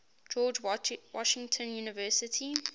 george washington university